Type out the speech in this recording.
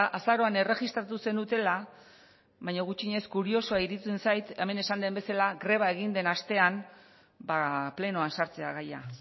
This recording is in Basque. azaroan erregistratu zenutela baina gutxienez kuriosoa iruditzen zait hemen esan den bezala greba egin den astean plenoan sartzea gaia